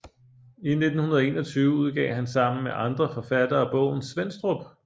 I 1921 udgav han sammen med andre forfattere bogen Svenstrup